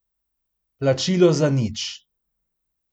Plačilo za nič.